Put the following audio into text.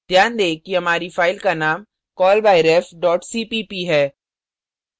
ध्यान दें कि हमारी file का name callbyref cpp है